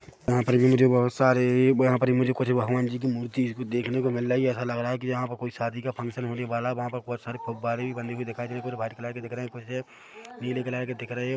वहा पर भी मुझे बहुत सारे यहाँ पर मुझे कुछ भगवान जी की मूर्ति देखने को मिल रहा है यहाँ लग रहा है यहाँ पर कोई शादी का फंक्शन होने वाला है वहा पर बहुत सारे फ़वारे बने हुए दिखाई दे रहे हैं कुछ व्हाइट कलर की है कुछ नीले कलर की दिख रहे है।